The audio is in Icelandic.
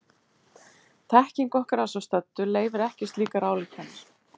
Þekking okkar að svo stöddu leyfir ekki slíkar ályktanir.